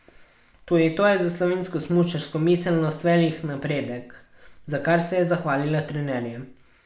Tudi to je za slovensko smučarsko miselnost velik napredek, za kar se je zahvalila trenerjem.